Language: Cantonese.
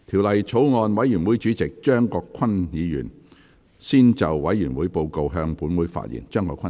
法案委員會主席張國鈞議員先就委員會報告，向本會發言。